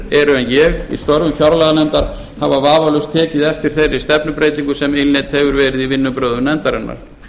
en ég í störfum fjárlaganefndar hafa vafalaust tekið eftir þeirri stefnubreytingu sem innleidd hefur verið í vinnubrögðum nefndarinnar